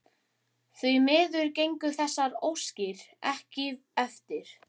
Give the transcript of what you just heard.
Því miður gengu þessar óskir ekki eftir.